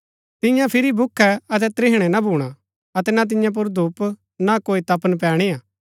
तियां फिरी भूखै अतै त्रिहणै ना भूणा अतै ना तियां पुर धूप ना कोई तपन पैणीआ